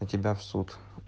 на тебя в суд